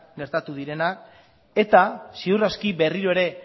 gertatu direla eta ziur aski berriro ere